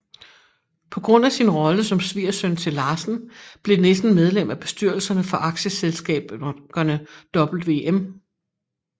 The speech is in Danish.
På grund af sin rolle som svigersøn til Larsen blev Nissen medlem af bestyrelserne for aktieselskaberne Wm